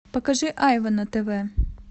покажи айва на тв